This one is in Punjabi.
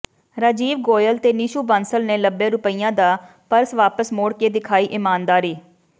ਰਾਜੀਵ ਗੋਇਲ ਤੇ ਨੀਸ਼ੂ ਬਾਂਸਲ ਨੇ ਲੱਭੇ ਰੁਪਇਆਂ ਦਾ ਪਰਸ ਵਾਪਸ ਮੋੜ ਕੇ ਦਿਖਾਈ ਇਮਾਨਦਾਰੀ